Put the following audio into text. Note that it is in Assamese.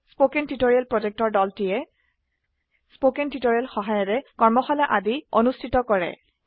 কথন শিক্ষণ প্ৰকল্পৰ দলটিয়ে কথন শিক্ষণ সহায়িকাৰে কৰ্মশালা আদি অনুষ্ঠিত কৰে